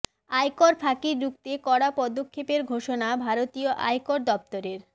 আয়কর ফাঁকি রুখতে কড়া পদক্ষেপের ঘোষণা ভারতীয় আয়কর দফতরের